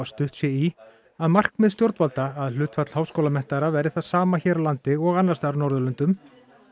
stutt sé í það markmið stjórnvalda að hlutfall háskólamenntaðra verði það sama hér á landi og annars staðar á Norðurlöndum